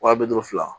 Wa bi duuru fila